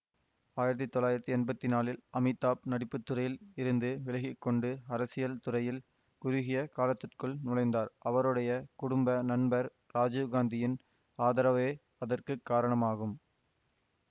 ஆயிரத்தி தொள்ளாயிரத்தி எம்பத்தி நாலில் அமிதாப் நடிப்புத்துறையில் இருந்து விலகிக்கொண்டு அரசியல் துறையில் குறுகிய காலத்திற்குள் நுழைந்தார் அவருடைய குடும்ப நண்பர் ராஜிவ்காந்தியின் ஆதரவே அதற்குரிய காரணமாகும்